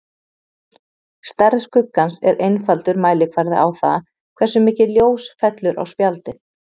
Stærð skuggans er einfaldur mælikvarði á það, hversu mikið ljós fellur á spjaldið.